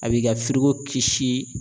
A b'i ka firigo kisi